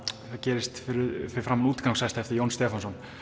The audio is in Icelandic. gerist fyrir framan Útigangshesta eftir Jón Stefánsson